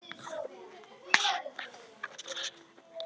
Burt nú!